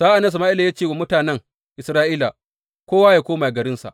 Sa’an nan Sama’ila ya ce wa mutanen Isra’ila, Kowa yă koma garinsa.